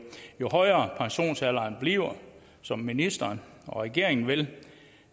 højere pensionsalderen bliver som ministeren og regeringen vil